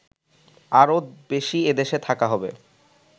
আরও বেশি এদেশে থাকা হবে